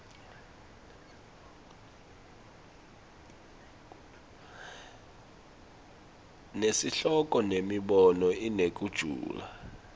nesihloko nemibono inekujula